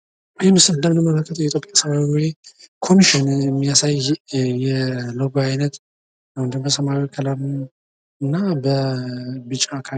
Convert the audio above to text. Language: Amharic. ይህ ምስል እንደምንመለከተው የኢትዮጵያ ሰብዓዊ መብት ኮሚሽን የሚያሳይ የሎጎ አይነት ነው። በሰማያዊ ከለር እና በቢጫ ከለር።